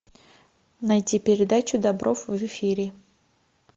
найти передачу добров в эфире